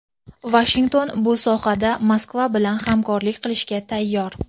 Vashington bu sohada Moskva bilan hamkorlik qilishga tayyor.